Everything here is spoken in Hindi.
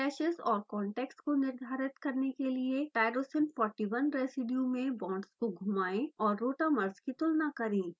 clashes और contacts को निर्धारित करने के लिए tyrosine 41 रेसीड्यू में बांड्स को घुमाएं और rotamers की तुलना करें